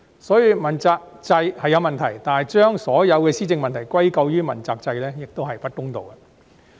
所以，問責制是有問題，但把所有施政問題歸咎於問責制亦不公道。